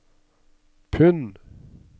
pund